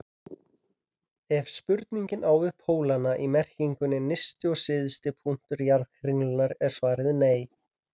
Ef spurningin á við pólana í merkingunni nyrsti og syðsti punktur jarðkringlunnar er svarið nei.